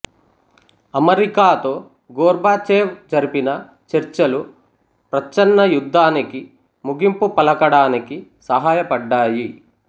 అమెరికాతో గోర్బచేవ్ జరిపిన చర్చలు ప్రచ్ఛన్న యుద్ధానికి ముగింపు పలకడానికి సహాయపడ్డాయి